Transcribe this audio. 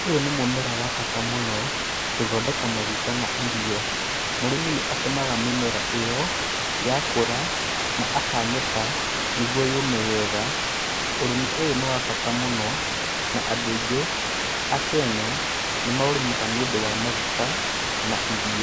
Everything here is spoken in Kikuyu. Ũyũ nĩ mũmera wa bata mũno, gũthondeka maguta na ĩrio. Murimi nĩ atemaga mĩmera ĩyo yakũra, na akanĩka nĩguo yũume wega. Ũrĩmi ũyũ nĩ wa bata mũno na andũ aĩngi a kenya nĩ maũrimaga nĩ ũndu wa magũta na ĩrio.